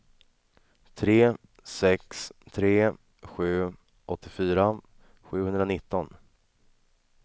tre sex tre sju åttiofyra sjuhundranitton